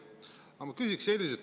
Aga ma küsiksin selliselt.